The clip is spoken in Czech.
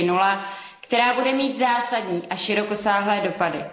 4.0, která bude mít zásadní a širokosáhlé dopady.